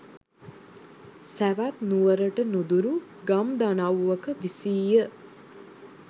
සැවැත් නුවරට නුදුරු ගම් දනව්වක විසීය.